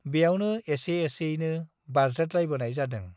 ब्यावनो एसे एसेयैनो बाज्रेदलायबोनाय जादों।